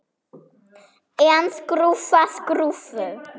En skrúfa skrúfu?